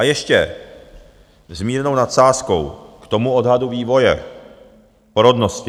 A ještě s mírnou nadsázkou k tomu odhadu vývoje porodnosti.